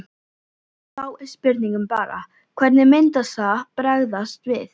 Og þá er spurningin bara hvernig myndi það bregðast við?